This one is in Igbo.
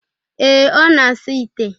ee, ọ na-asa ite.